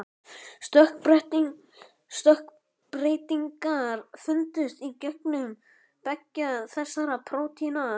Stökkbreytingar fundust í genum beggja þessara prótína.